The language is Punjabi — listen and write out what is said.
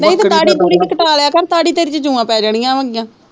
ਨਹੀਂ ਤੇ ਦਾੜੀ ਦੁੜੀ ਤੇ ਕਟਾ ਲਿਆ ਕਰ ਦਾੜੀ ਤੇਰੀ ਚ ਜੁਆਂ ਪੈ ਜਾਣੀਆਂ